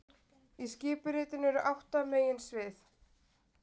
Í skipuritinu eru átta meginsvið